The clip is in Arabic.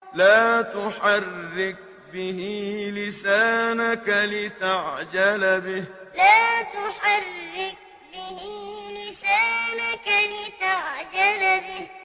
لَا تُحَرِّكْ بِهِ لِسَانَكَ لِتَعْجَلَ بِهِ لَا تُحَرِّكْ بِهِ لِسَانَكَ لِتَعْجَلَ بِهِ